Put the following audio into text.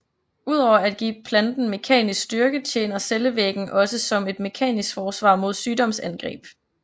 Ud over at give planten mekanisk styrke tjener cellevæggen også som et mekanisk forsvar mod sygdomsangreb